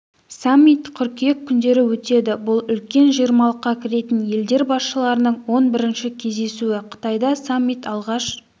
саммит қыркүйек күндері өтеді бұл үлкен жиырмалыққа кіретін елдер басшыларының он бірінші кездесуі қытайда саммит алғаш